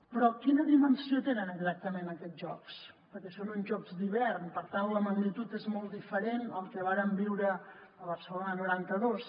però quina dimensió tenen exactament aquests jocs perquè són uns jocs d’hivern per tant la magnitud és molt diferent al que vàrem viure a barcelona noranta dos